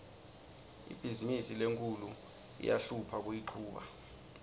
ibhizimisi lenkhulu iyahlupha kuyichuba